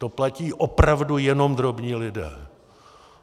To platí opravdu jenom drobní lidé.